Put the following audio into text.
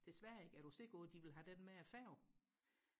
til Sverige er du sikker på de vil have den med færgen